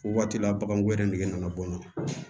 O waati la baganko yɛrɛ nɛgɛ nana bɔ n na